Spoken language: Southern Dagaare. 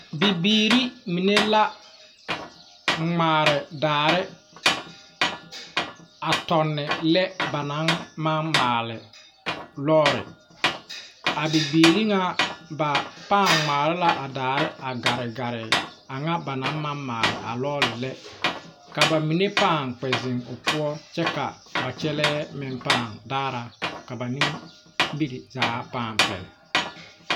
Bibiiri mine la ŋmaare daare a tɔnne lɛ ba naŋ maŋ maali lɔɔre ,a bibiiri ŋmaare la a daare garegare a ŋa ba naŋ maŋ maali a lɔɔre lɛ ka ba mine paŋ ziŋ o poɔ kyɛ ka ba kyɛlɛɛ meŋ paŋ daara ka ba nimiri zaa paŋ pɛle.